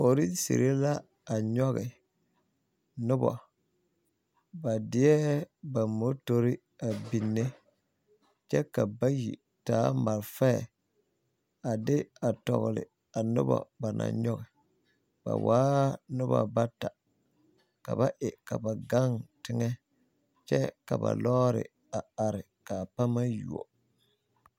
Polisiri la a nyɔge noba ba deɛ ba motori a biŋ ne kyɛ ka ba bayi taa malfaɛ a de a tɔgle a noba ba naŋ nyɔge ba waa noba bata ka ba e ka ba gaŋ teŋɛ kyɛ ka ba lɔɔre a are ka a pama a yuo.